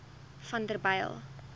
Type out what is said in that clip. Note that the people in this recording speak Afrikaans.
vanderbijl